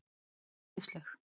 Þú ert æðisleg!